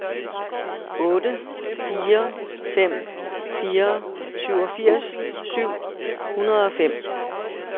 otte fire fem fire syvogfirs syv hundrede og fem